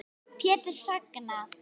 Pétur: Sængað?